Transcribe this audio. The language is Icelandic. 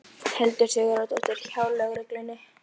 Hildur Sigurðardóttir: Hjá lögreglunni?